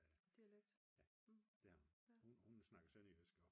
Hun snakker sønderjysk